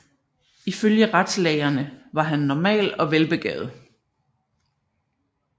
Ifølge retslægerne var han normal og velbegavet